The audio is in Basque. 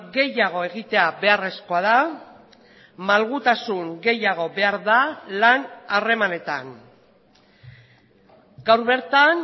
gehiago egitea beharrezkoa da malgutasun gehiago behar da lan harremanetan gaur bertan